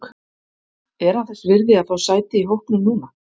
Er hann þess virði að fá sæti í hópnum núna?